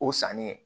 O sanni